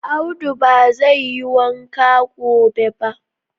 Audu ba zai yi wanka gobe ba